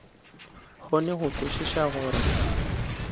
kgone go kwešiša go re